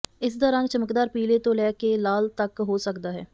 ਇਸ ਦਾ ਰੰਗ ਚਮਕਦਾਰ ਪੀਲੇ ਤੋਂ ਲੈ ਕੇ ਲਾਲ ਤਕ ਹੋ ਸਕਦਾ ਹੈ